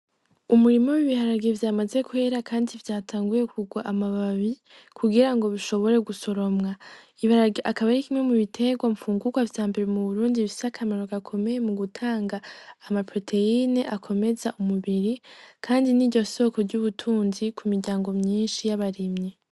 Umurimo bibiharagiye vyamaze kwera, kandi vyatanguye kugwa amababi kugira ngo bishobore gusoromwa ibarag akaba ri kimwe mu biterwa mpfungukwa vya mbere mu burundi bisakamarogoakomeye mu gutanga amaproteyine akomeza umubiri, kandi n'i ryo soko ry'ubutunzi ku miryango myinshi y'abarimyi.